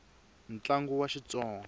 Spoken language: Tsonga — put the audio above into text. tlangu wa xitsonga